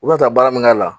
U bɛna taa baara min k'a la